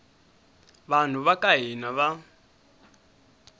vanhu va ka hina va